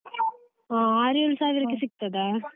ಹಾ, ಆರೇಳು ಸಾವಿರಕ್ಕೆ ಸಿಕ್ತದಾ?